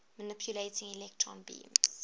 manipulating electron beams